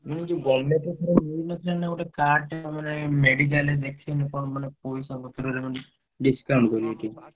ମୁଁ କହିଲି ଯୋଉ government ର ଥରେ ମିଳିନଥିଲା ନା ଗୋଟେ card ଟେ ଆମର ଏଇ medical ରେ ଦେଖେଇଲେ କଣ ମାନେ ପଇସା ପତ୍ରରେ ମାନେ discount କରନ୍ତି।